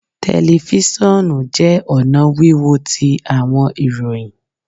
Telifisonu jẹ ọna wiwo ti awọn ìròyìn